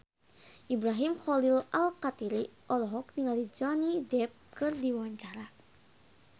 Ibrahim Khalil Alkatiri olohok ningali Johnny Depp keur diwawancara